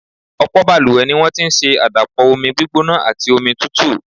Ọ̀pọ̀ balùwẹ̀ ni wọ́n ti ń ṣe àdàpọ̀ omi gbígbóná àti omi tútù.